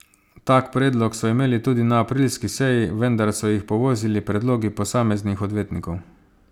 Tak predlog so imeli tudi na aprilski seji, vendar so jih povozili predlogi posameznih odvetnikov.